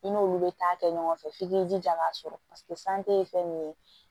I n'olu bɛ taa kɛ ɲɔgɔn fɛ f'i k'i jija k'a sɔrɔ san tɛ fɛn min ye